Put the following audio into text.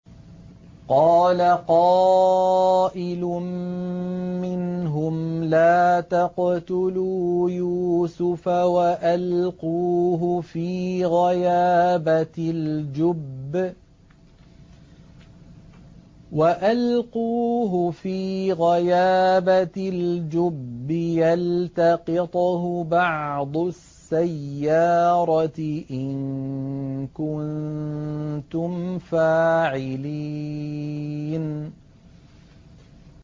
قَالَ قَائِلٌ مِّنْهُمْ لَا تَقْتُلُوا يُوسُفَ وَأَلْقُوهُ فِي غَيَابَتِ الْجُبِّ يَلْتَقِطْهُ بَعْضُ السَّيَّارَةِ إِن كُنتُمْ فَاعِلِينَ